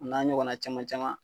O n'a ɲɔgɔnna caman caman.